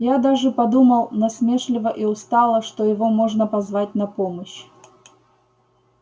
я даже подумал насмешливо и устало что его можно позвать на помощь